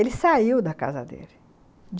Ele saiu da casa dele.